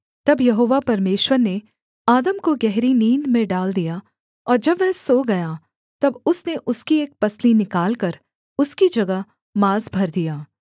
तब यहोवा परमेश्वर ने आदम को गहरी नींद में डाल दिया और जब वह सो गया तब उसने उसकी एक पसली निकालकर उसकी जगह माँस भर दिया